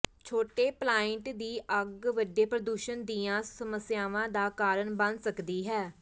ਛੋਟੇ ਪਲਾਇੰਟ ਦੀ ਅੱਗ ਵੱਡੇ ਪ੍ਰਦੂਸ਼ਣ ਦੀਆਂ ਸਮੱਸਿਆਵਾਂ ਦਾ ਕਾਰਨ ਬਣ ਸਕਦੀ ਹੈ